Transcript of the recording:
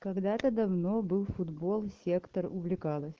когда-то давно был футбол сектор увлекалась